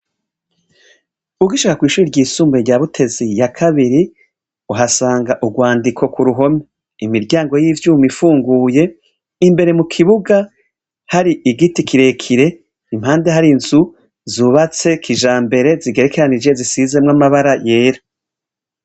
Ug ishaka kw'ishuri ry'isumbuye rya butezi ya kabiri uhasanga urwandiko ku ruhome imiryango y'ivyuma ifunguye imbere mu kibuga hari igiti kirekire impande hari nzu zubatse kija mbere zigerekaranije zisizemwo amabara yera.